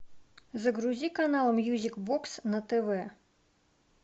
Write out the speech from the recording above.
загрузи канал мьюзик бокс на тв